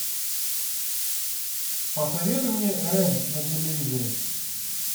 посоветуй мне рен на телевизоре